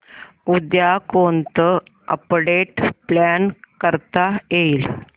उद्या कोणतं update plan करता येईल